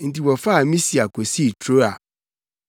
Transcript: Enti wɔfaa Misia kosii Troa.